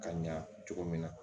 Ka ɲa cogo min na